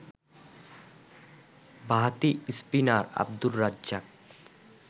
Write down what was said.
বাঁহাতি স্পিনার আব্দুর রাজ্জাক